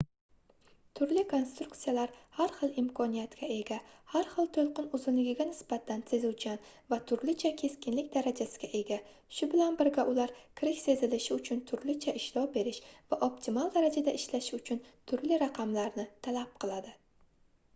turli konstruksiyalar har xil imkoniyatga ega har xil toʻlqin uzunligiga nisbatan sezuvchan va turlicha keskinlik darajasiga ega shu bilan birga ular kirish sezilishi uchun turlicha ishlov berish va optimal darajada ishlashi uchun turli raqamlarni talab qiladi